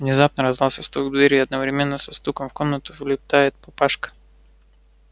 внезапно раздаётся стук в дверь и одновременно со стуком в комнату влетает папашка